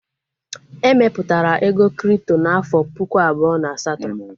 E mepụtara ego kripto n'afọ puku abụọ na asatọ